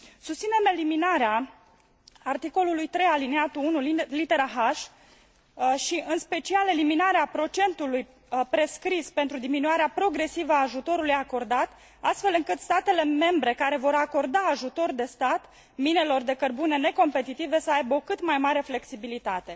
Susținem eliminarea articolului 3 alineatul 1 litera h și, în special, eliminarea procentului prescris pentru eliminarea progresivă a ajutorului acordat, astfel încât statele membre care vor acorda ajutor de stat minelor de cărbune necompetitive să aibă o cât mai mare flexibilitate.